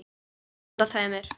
Handa tveimur